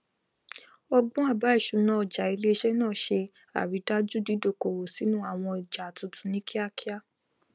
ọgbọn àbá ìṣúná ọjà iléiṣẹ náà ṣe àrídájú dídókòwò sínú àwọn ọjà tuntun ní kíakíá